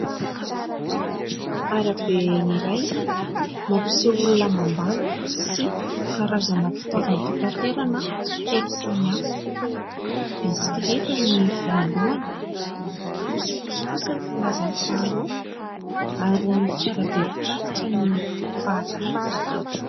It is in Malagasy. Arabe iray no mampiseho olona mandalo sy karazana fitaovam-pitaterana telo samy hafa. Bisikleta ny voalohany, posiposy kosa ny filaza ny faharoa ary fiarabe mpitatitra ny fahatelo.